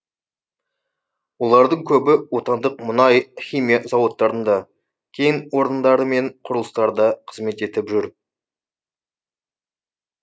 олардың көбі отандық мұнай химия зауыттарында кен орындары мен құрылыстарда қызмет етіп жүр